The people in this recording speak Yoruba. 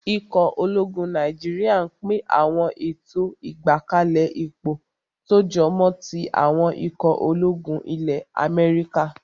Ikọ̀ ológun Nàìjíríyà n pín àwọn ètò ìgbákalẹ̀ ipò tó jọmọ́ tí àwọn ikọ̀ ológun ilẹ́ Amẹ́ríkà